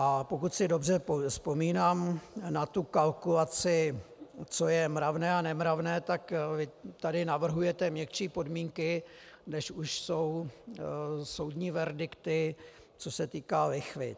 A pokud si dobře vzpomínám na tu kalkulaci, co je mravné a nemravné, tak tady navrhujete měkčí podmínky, než už jsou soudní verdikty, co se týká lichvy.